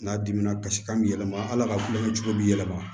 N'a dimina kasi kan bɛ yɛlɛma ala ka kulonkɛ cogo bi yɛlɛma